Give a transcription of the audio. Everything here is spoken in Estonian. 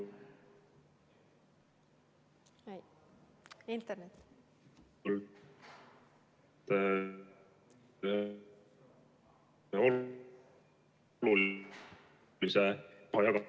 Internet!